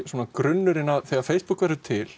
grunnurinn þegar Facebook verður til